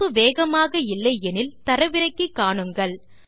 இணைப்பு வேகமாக இல்லை எனில் தரவிறக்கி காணுங்கள்